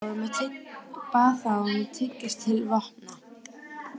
Bað þá um að tygjast til vopna.